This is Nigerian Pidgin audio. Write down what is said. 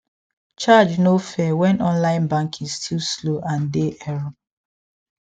charge no fair when online banking still slow and dey error